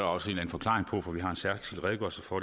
også en forklaring på for vi har en særskilt redegørelse for